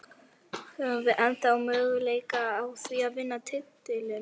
Höfum við ennþá möguleika á því að vinna titilinn?